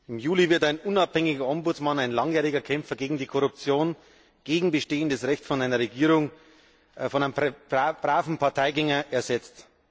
Im Juli wird ein unabhängiger Ombudsmann, ein langjähriger Kämpfer gegen Korruption, gegen bestehendes Recht von einer Regierung durch einen braven Parteigänger ersetzt.